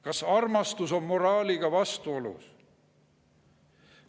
Kas armastus on moraaliga vastuolus?